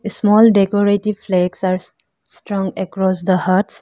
A small decorative flakes are strung across the huts.